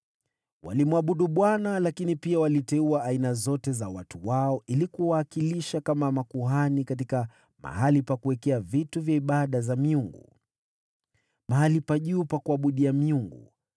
Walimwabudu Bwana , lakini pia waliteua aina zote za watu wao ili kuwawakilisha kama makuhani katika mahali pa kuabudia miungu kwenye mahali pa juu pa ibada.